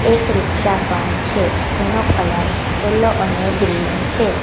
એક રીક્ષા પણ છે જેનો કલર યેલો અને ગ્રીન છે.